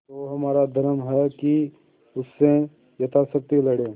तो हमारा धर्म है कि उससे यथाशक्ति लड़ें